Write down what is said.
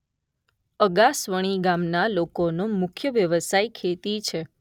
અગાસવણી ગામના લોકોનો મુખ્ય વ્યવસાય ખેતી છે.